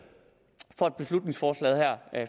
for at beslutningsforslaget her